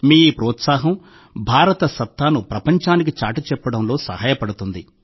మీ ఈ ప్రోత్సాహం భారతదేశ మాయాజాలాన్ని ప్రపంచానికి చాటిచెప్పడంలో సహాయపడుతుంది